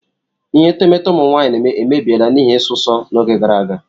Ihe etemeete ụmụ nwaanyị emebiela n'ihi isụsọ n'oge gara aga.